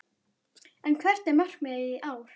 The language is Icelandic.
En hvert er markmiðið í ár?